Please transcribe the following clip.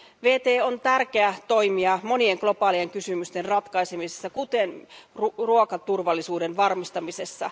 WTO on tärkeää toimija monien globaalien kysymysten ratkaisemisessa, kuten ruokaturvallisuuden varmistamisessa.